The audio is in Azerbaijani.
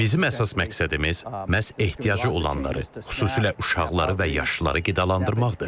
Bizim əsas məqsədimiz məhz ehtiyacı olanları, xüsusilə uşaqları və yaşlıları qidalandırmaqdır.